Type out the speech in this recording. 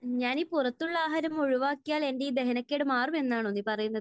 ഞാനീ പുറത്തുള്ള ആഹാരം ഒഴിവാക്കിയാൽ എന്റെ ഈ ദഹനക്കേട് മാറുമെന്നാണോ നീ പറയുന്നത്?